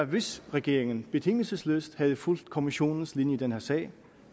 hvis regeringen betingelsesløst havde fulgt kommissionens linje i den her sag